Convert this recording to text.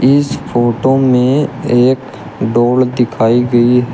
इस फोटो में एक डोर दिखाई गई --